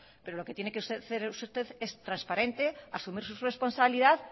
pero lo que tiene que hacer usted es transparente asumir su responsabilidad